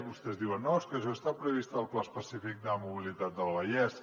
vostès diuen no és que això està previst al pla específic de mobilitat del vallès